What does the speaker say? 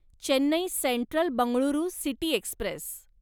Chennai central Bengaluru city Express